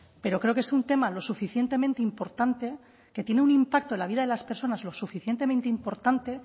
pero creo que es un tema lo suficientemente importante que tiene un impacto en la vida de las personas lo suficientemente importante